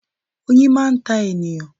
Oyin máa ń ta ènìyàn.